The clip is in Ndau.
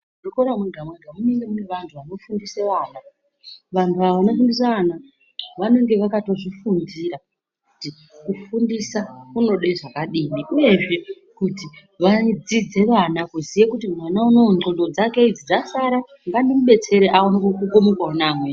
...zvikora mwega-mwega munenge mune vantu vanofundise vana. Vantu ava vanofundise vana vanenge vakatozvifundira kuti kufundisa kunode zvakadini. Uyezve kuti vadzidze vana kuziye kuti mwana unowu ndxondo dzake idzi dzasara, ngandimudetsere aaone kukukumukawo ngeamweni.